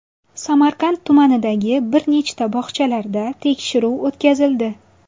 Samarqand tumanidagi bir nechta bog‘chalarda tekshiruv o‘tkazildi.